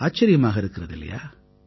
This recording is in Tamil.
ஆச்சரியமாக இருக்கிறது இல்லையா